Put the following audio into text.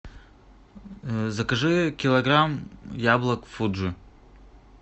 закажи килограмм яблок фуджи